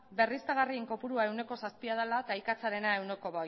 berriztagarrien kopurua ehuneko zazpia dela eta ikatzarena